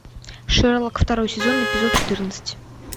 шерлок второй сезон эпизод четырнадцать